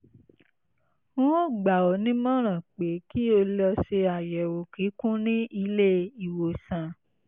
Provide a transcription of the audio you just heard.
n ó gbà ọ́ ní ìmọ̀ràn pé kí o lọ ṣe àyẹ̀wò kíkún ní ilé-ìwòsàn